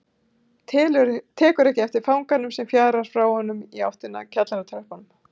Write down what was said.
Tekur ekki eftir fanganum sem fjarar frá honum í áttina að kjallaratröppunum.